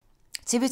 TV 2